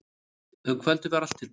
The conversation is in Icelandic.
Um kvöldið var allt tilbúið.